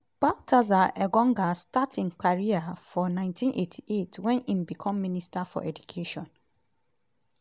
baltasar engonga start im career for 1998 wen im become minister for education.